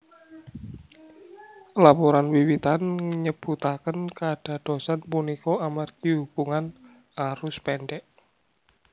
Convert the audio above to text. Laporan wiwitan nyebutaken kadadosan punika amargi hubungan arus pendek